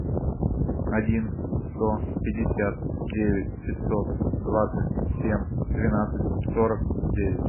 один сто пятьдесят девять пятьсот двадцать семь двенадцать сорок девять